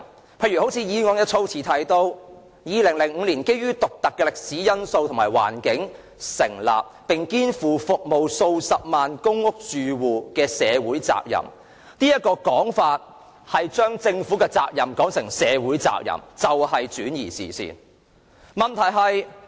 舉例來說，議案的措辭提到 "2005 年基於獨特的歷史因素及環境而成立，並肩負着服務數十萬公屋住戶的社會責任"，這種說法便是將政府的責任說成是社會的責任，轉移視線。